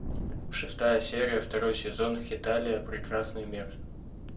шестая серия второй сезон хеталия прекрасный мир